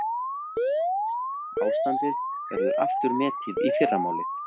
Ástandi verður aftur metið í fyrramálið